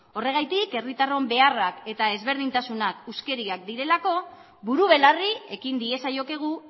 horregatik herritarron beharrak eta ezberdintasunak huskeriak direlako buru belarri ekin diezaiokegu